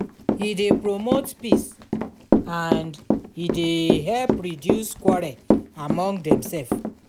e dey promote peace and e dey help reduce quarrel among demself